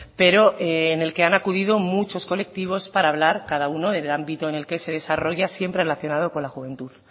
pero en el que han acudido muchos colectivos para hablar cada uno en el ámbito en el que se desarrolla siempre relacionado con la juventud